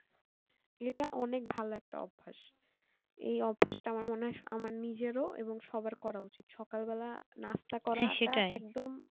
ইটা অনেক ভালো একটা অভ্যাস এই অভ্যাসটা মনে হয় আমার নিজেরও এবং সবার করা উচিত সকাল বেলায় নাস্তা করাটা